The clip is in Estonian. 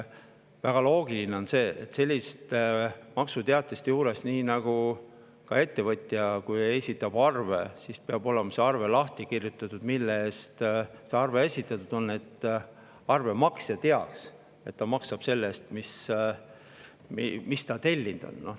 Väga loogiline on sellises maksuteatistes, nii nagu ka ettevõtjal, kui ta esitab arve, peab olema lahti kirjutatud, mille eest see arve esitatud on, et arve maksja teaks, et ta maksab selle eest, mis ta tellinud on.